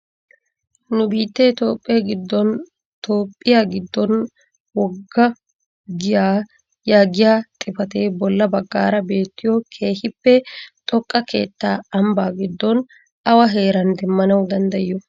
Nu biittee Toophphee giddon "Toophphiyaa giddon wogga giyaa" yaagiyaa xifatee bolla baggaara beettiyoo keehippe xooqqa keettaa ambbaa giddon awa heeran demmanawu danddayiyo?